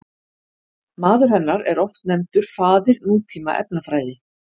Maður hennar er oft nefndur faðir nútíma efnafræði.